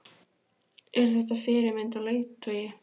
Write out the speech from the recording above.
Er þetta fyrirmynd og leiðtogi?